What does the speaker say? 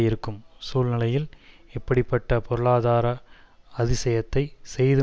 இருக்கும் சூழ்நிலையில் இப்படி பட்ட பொருளாதார அதிசயத்தை செய்து